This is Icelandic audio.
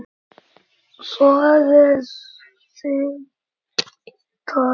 Soðið sigtað.